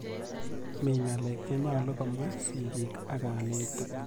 Mi ng'alek che nyalu komwa sigik ak kanetik.